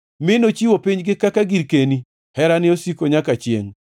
mi nochiwo pinygi kaka girkeni, Herane osiko nyaka chiengʼ.